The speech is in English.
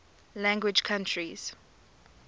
language countries